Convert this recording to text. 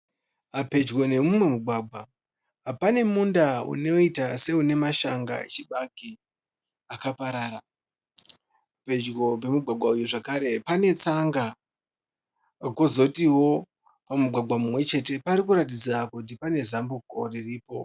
Pedyo nemumugwagwa pane munda unoita seune mashanga echibage akaparara. Pedyo nemugwagwa zvakere pane tsanga kozotiwo pedyo nemugwagwa uyu zvakare pane zambuko riripo.